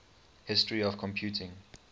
history of computing